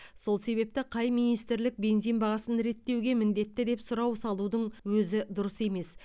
сол себепті қай министрлік бензин бағасын реттеуге міндетті деп сұрау салудың өзі дұрыс емес